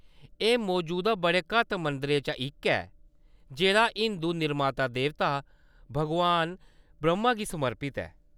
एह्‌‌ मजूद बड़े घट्ट मंदरें चा इक ऐ, जेह्‌‌ड़ा हिंदू निर्माता-देवता भगवान ब्रह्‌मा गी समर्पत ऐ।